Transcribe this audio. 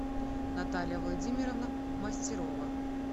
наталья владимировна мастерова